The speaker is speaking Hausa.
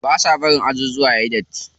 Ba sa bari ajujuwa suyi datti.